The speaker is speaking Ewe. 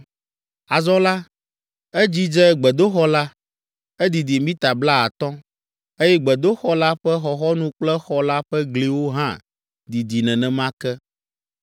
Azɔ la, edzidze gbedoxɔ la. Edidi mita blaatɔ̃, eye gbedoxɔ la ƒe xɔxɔnu kple xɔ la ƒe gliwo hã didi nenema ke.